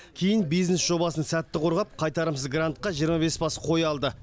кейін бизнес жобасын сәтті қорғап қайтарымсыз грантқа жиырма бес бас қой алды